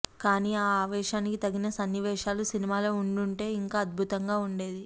కానీ ఆ ఆవేశానికి తగిన సన్నివేశాలు సినిమాలో ఉండుంటే ఇంకా అద్భుతంగా ఉండేది